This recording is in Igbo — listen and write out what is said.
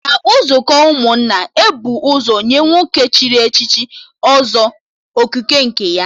Na nzukọ ụmụnna, e bu ụzọ nye nwoke chịrị Ọzọ Okike nke ya